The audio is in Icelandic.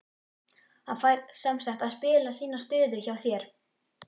Hann fær semsagt að spila sína stöðu hjá þér?